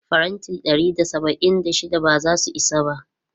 Faranti ɗari da saba'in da shida ba za su isa ba.